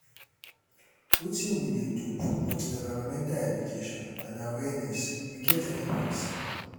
wetin we dey do promote environmental education and awaereness we get any plans?